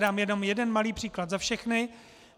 Dám jenom jeden malý příklad za všechny.